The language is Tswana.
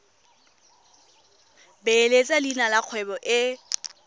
beeletsa leina la kgwebo e